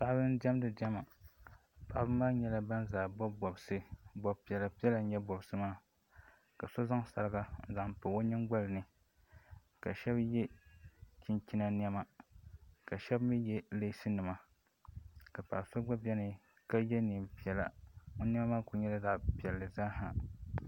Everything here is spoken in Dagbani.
Paɣaba n diɛmdi diɛma paɣaba maa nyɛla ban zaa bobi bobsi bobpiɛla piɛla n nyɛ bobsi maa ka so zaŋ sariga n zaŋ pobi o nyingolini ka shebi ye chinchina nɛma ka shebi mi ye leesinima ka paɣaso gba beni ka ye neenpiɛlla o nema maa kuli nyɛla zaɣa piɛlli zaha.